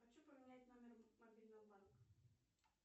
хочу поменять номер мобильного банка